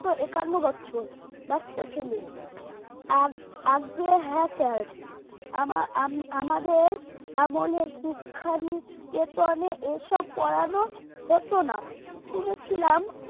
একান্ন বছর বাচ্চা ছেলে আজ্ঞে হ্যাঁ sir আমা আমাদের আমলে শিক্ষা নিকেতনে এসব পড়ানো হতো না শুনেছিলাম